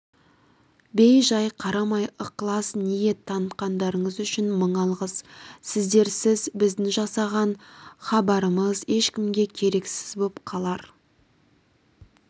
бей-жай қарамай ықылас ниет танытқандарыңыз үшін мың алғыс сіздерсіз біздің жасаған хабарымыз ешкімге керексіз боп қалар